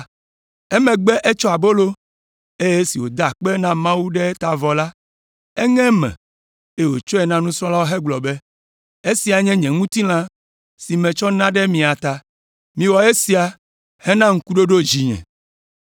Emegbe etsɔ abolo, eye esi wòda akpe na Mawu le eta vɔ la, eŋe eme, eye wòtsɔe na nusrɔ̃lawo hegblɔ be, “Esia nye nye ŋutilã si metsɔ na ɖe mia ta. Miwɔ esia hena ŋkuɖoɖo dzinye.”